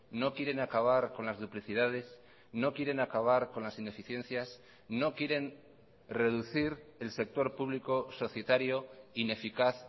no quieren acabar con las duplicidades no quieren acabar con las ineficiencias no quieren reducir el sector público societario ineficaz